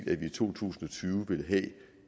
at vi i to tusind og tyve ville have